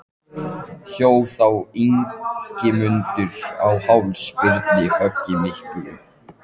Hjó þá Ingimundur á háls Birni höggi miklu.